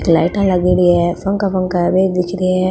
लाईटा लागेड़ी है पंखा पंखा है बे ही दिख रिया है।